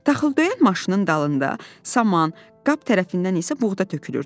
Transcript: Taxıldöyən maşının dalında saman, qab tərəfindən isə buğda tökülürdü.